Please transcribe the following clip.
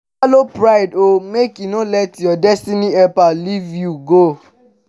swallow pride o mek e no let yur destiny helper live you go